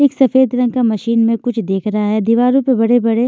एक सफेद रंग का मशीन में कुछ देख रहा है दीवारों पेबड़े-बड़े--